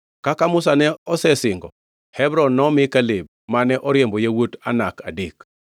Kaka Musa ne osesingo, Hebron nomi Kaleb, mane oriembo yawuot Anak adek.